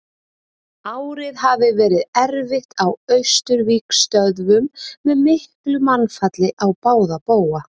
Árið hafði verið erfitt á Austurvígstöðvunum með miklu mannfalli á báða bóga.